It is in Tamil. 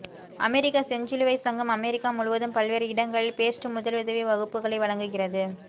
அமெரிக்க செஞ்சிலுவைச் சங்கம் அமெரிக்கா முழுவதும் பல்வேறு இடங்களில் பேஸ்ட் முதலுதவி வகுப்புகளை வழங்குகிறது